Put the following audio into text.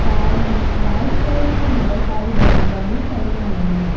Side में white colour की बहुत सारी बोरियां भी पड़ी हुई हैं।